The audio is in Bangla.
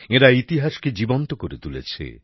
এঁরা ইতিহাস কে জীবন্ত করে তুলেছে